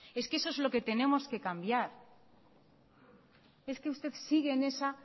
es que eso es lo que tenemos que cambiar es que usted sigue en esa